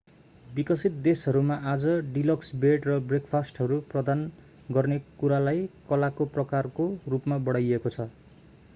विकसित देशहरूमा आज डिलक्स बेड र ब्रेकफास्टहरू प्रदान गर्ने कुरालाई कलाको-प्रकारको रूपमा बढाइएको छ